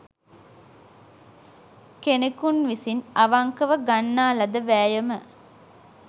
කෙනෙකුන් විසින් අවංකව ගන්නා ලද වෑයම